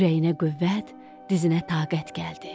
Ürəyinə qüvvət, dizinə taqət gəldi.